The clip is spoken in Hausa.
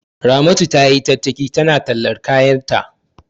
Ramatu tayi tattaki tana tallar kayanta.